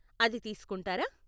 అది తీసుకుంటారా?